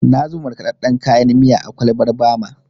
Na zuba markaɗaɗɗen kayan miya a kwalbar Bama.